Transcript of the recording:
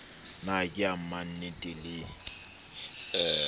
na ke ya mannte le